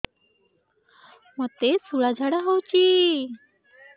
ମୋତେ ଶୂଳା ଝାଡ଼ା ହଉଚି